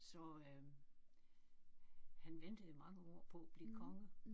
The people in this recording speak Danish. Så øh han ventede i mange år på at blive konge